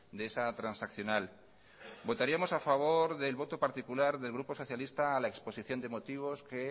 de esa transaccional votaríamos a favor del voto particular del grupo socialista a la exposición de motivos que